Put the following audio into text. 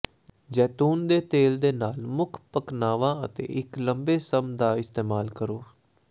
ਜੈਤੂਨ ਦੇ ਤੇਲ ਦੇ ਨਾਲ ਮੁੱਖ ਪਕਵਾਨਾ ਅਤੇ ਇੱਕ ਲੰਬੇ ਸਮ ਦਾ ਇਸਤੇਮਾਲ ਕਰੋ